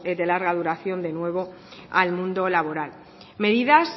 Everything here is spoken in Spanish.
de larga duración de nuevo al mundo laboral medidas